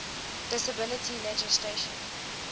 disability legislation